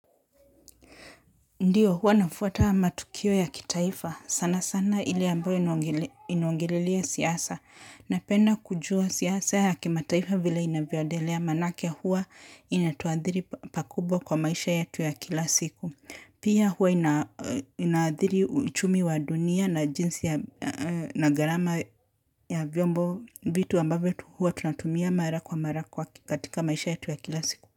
Ndio huwa nafuata matukio ya kitaifa sana sana ile ambayo inaongelelea siasa napenda kujua siasa ya kimataifa vile inavyoedelea manake huwa inatuadhiri pakubwa kwa maisha yetu ya kila siku. Pia huwa inaadhiri uchumi wa dunia na jinsi na gharama ya vyombo vitu ambavyo huwa tunatumia mara kwa mara kwa katika maisha yatu ya kila siku.